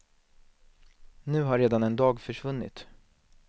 Nu har redan en dag försvunnit.